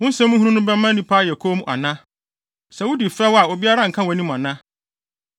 Wo nsɛm hunu no bɛma nnipa ayɛ komm ana? Sɛ wudi fɛw a obiara nka wʼanim ana?